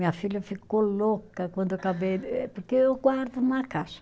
Minha filha ficou louca quando eu acabei de, eh porque eu guardo numa caixa.